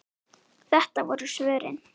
Þetta voru svörin.